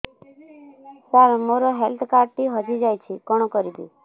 ସାର ମୋର health card ଟି ହଜି ଯାଇଛି କଣ କରିବି